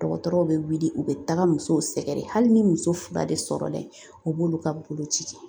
Dɔgɔtɔrɔw bɛ wuli u bɛ taga muso sɛgɛrɛ hali ni muso fila de sɔrɔla yen u b'olu ka boloci kɛ